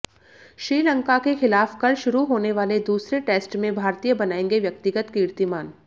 श्रीलंका के खिलाफ कल शुरू होने वाले दूसरे टेस्ट में भारतीय बनाएंगे व्यक्तिगत कीर्तिमान